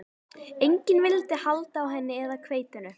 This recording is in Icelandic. Enginn vildi halda á henni eða hveitinu.